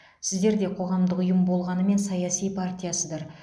сіздер де қоғамдық ұйым болғанымен саяси партиясыздар